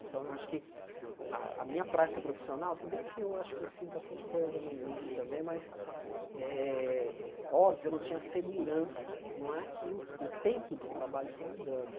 Então, eu acho que a a minha prática profissional, se bem que eu acho que eu fiz bastante coisa no início também, mas, eh óbvio, eu não tinha segurança, não é que o o tempo de trabalho foi me dando.